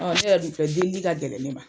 On ne yɛrɛ dun filɛ, delili ka gɛlɛn ne ma.